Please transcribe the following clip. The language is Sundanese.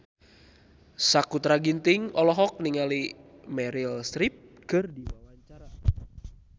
Sakutra Ginting olohok ningali Meryl Streep keur diwawancara